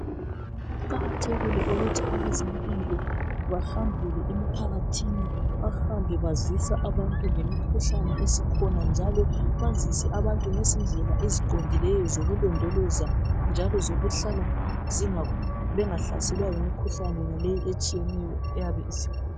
Kuqakathekile ukuthi abezempilo bahambele emphakathini, bahambe bazisa abantu ngemikhuhlane esikhona njalo bazise abantu ngezindlela eziqondileyo zokulondoloza njalo zokuhlala bengahlaselwa yimikhuhlane yonaleyi etshiyeneyo eyabe isikhona.